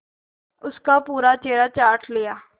उसका पूरा चेहरा चाट लिया